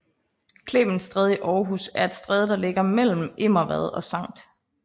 Clemens Stræde i Aarhus er et stræde der ligger mellem Immervad og Skt